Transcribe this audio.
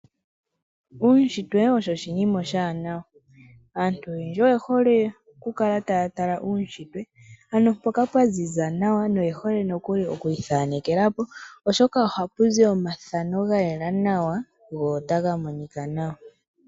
Uushintwe osho oshinima oshiwanawa. Aaantu oyendji oyehole okukala taya tala uushintwe, ano mpoka pwaziza nawa na oyehole nokuli okwiithanekela po, oshoka ohapu zi omathano gayela nawa go otaga monika nawa.